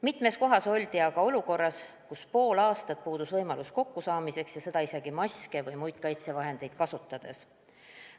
Mitmes kohas oldi olukorras, kus pool aastat puudus võimalus lähedastega kokku saada, seda isegi maske või muid kaitsevahendeid kasutades.